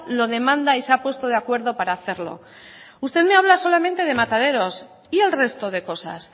lo demanda y se ha puesto de acuerdo para hacerlo usted me habla solamente de mataderos y el resto de cosas